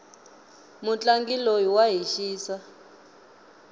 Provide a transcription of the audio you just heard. mutlangi loyi wa hi xisa